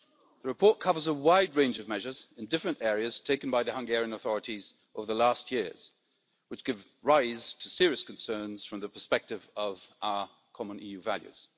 The report covers a wide range of measures in different areas taken by the Hungarian authorities over the last few years which give rise to serious concerns from the perspective of our common EU values.